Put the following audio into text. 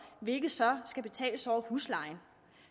hvilket så skal betales over huslejen